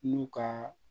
N'u ka